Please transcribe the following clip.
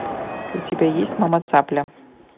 у тебя есть мама цапля